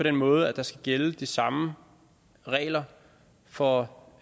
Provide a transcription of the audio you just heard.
den måde at der skal gælde de samme regler for